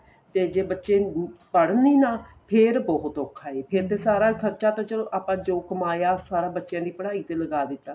ਤੇ ਜੇ ਬੱਚੇ ਪੜ੍ਹਣ ਈ ਨਾ ਫੇਰ ਬਹੁਤ ਔਖਾ ਏ ਫੇਰ ਤੇ ਸਾਰਾ ਖ਼ਰਚਾ ਚਲੋ ਆਪਾਂ ਜੋ ਕਮਾਇਆ ਸਾਰਾ ਬੱਚਿਆਂ ਦੀ ਪੜ੍ਹਾਈ ਤੇ ਲਗਾ ਦਿੱਤਾ